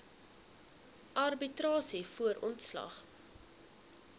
arbitrasie voor ontslag